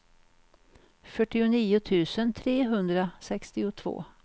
fyrtionio tusen trehundrasextiotvå